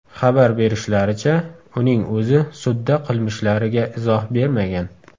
Xabar berishlaricha, uning o‘zi sudda qilmishlariga izoh bermagan.